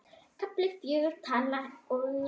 KAFLI FJÖGUR Tala ég skýrt?